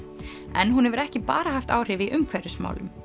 en hún hefur ekki bara haft áhrif í umhverfismálum